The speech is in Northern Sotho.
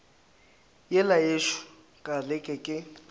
yela yešo ka leke ke